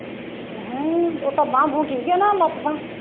ਹੈ ਹੈ ਉਦਾਂ ਬਾਂਹ ਬੂੰਹ ਠੀਕ ਹੈ ਨਾ ਲੱਤ ਬਾਂਹ